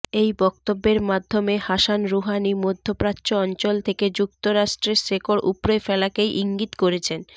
এই বক্তব্যের মাধ্যমে হাসান রুহানি মধ্যপ্রাচ্য অঞ্চল থেকে যুক্তরাষ্ট্রের শেকড় উপড়ে ফেলাকেই ইঙ্গিত করেছেন